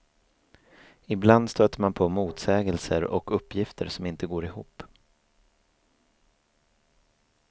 Ibland stöter man på motsägelser och uppgifter som inte går ihop.